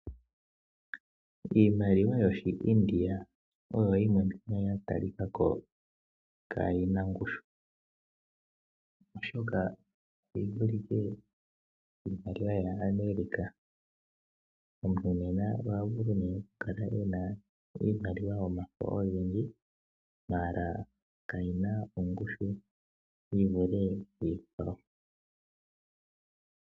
Iimaliwa yoshiIndia oyo yimwe ya talika ko kaayi na ongushu, oshoka oyi vulike kiimaliwa yaAmerica. Omuntu nena oha vulu okukala e na iimaliwa yomafo ogendji, ashike kayi na ongushu yi vule iikwawo.